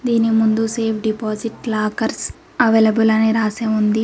దీని ముందు safe deposit lockers available అని రాసి వుంది.